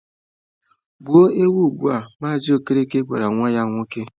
Gbuo ewu ugbua! Mazị Okereke gwara nwa ya nwoke.